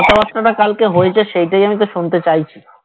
কথাবার্তাটা কালকে হয়েছে সেইটাই আমি তো শুনতে চাইছি